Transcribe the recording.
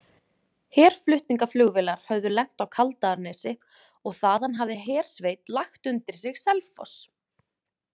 Herflutningaflugvélar höfðu lent á Kaldaðarnesi og þaðan hafði hersveit lagt undir sig Selfoss.